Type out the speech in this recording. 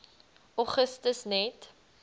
augustus net